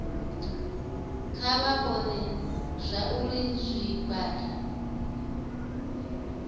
kha vha vhone zwauri zwigwada